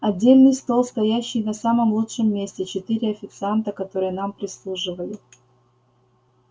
отдельный стол стоящий на самом лучшем месте четыре официанта которые нам прислуживали